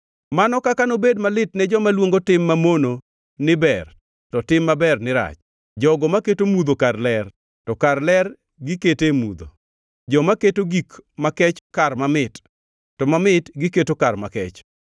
Mano kaka nobed malit ne joma luongo tim mamono ni ber to tim maber ni rach; jogo maketo mudho kar ler to kar ler gikete mudho, joma keto gik makech kar mamit to mamit giketo kar makech.